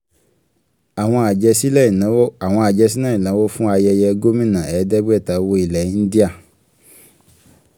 àwọn àjẹsílẹ̀ ìnáwó àwọn àjẹsílẹ̀ ìnáwó fún ayẹyẹ gómìnà ẹ̀ẹ́dẹ́gbẹ̀ta owó ilẹ̀ india.